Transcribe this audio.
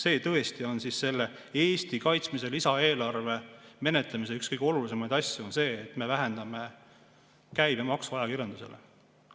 Kas see tõesti on selle Eesti kaitsmise lisaeelarve menetlemise üks kõige olulisemaid asju, see, et me vähendame ajakirjanduse käibemaksu?